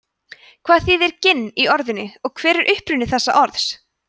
hvað þýðir ginn í orðinu og hver er uppruni þessa orðs